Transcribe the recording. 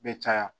Bɛ caya